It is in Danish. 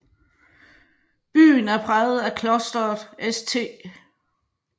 Byen er præget af Klosteret St